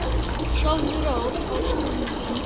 Sofðu rótt, ástin mín.